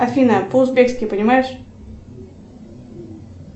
афина по узбекски понимаешь